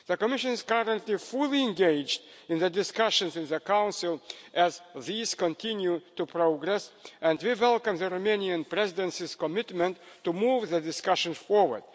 The Commission is currently fully engaged in the discussions in the Council as these continue to progress and we welcome the Romanian Presidency's commitment to move the discussion forward.